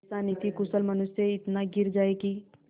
ऐसा नीतिकुशल मनुष्य इतना गिर जाए कि